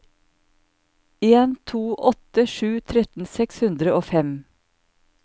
en to åtte sju tretten seks hundre og fem